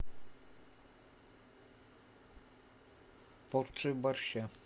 порцию борща